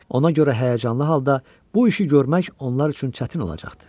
Ona görə həyəcanlı halda bu işi görmək onlar üçün çətin olacaqdı.